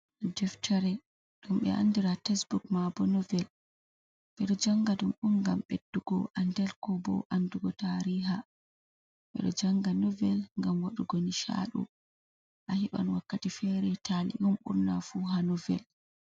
Deftere ɗum be andira tesbuk ma bo novel. Ɓeɗo janga ɗum on ngam ɓeddugo andal ko bo andugo tariha. Ɓeɗo janga novel ngam waɗugo nishaɗu, a heɓan wakkati fere tali, on burna fu ha novel.